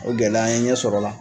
O gɛlɛya an ye ɲɛ sɔr'o la.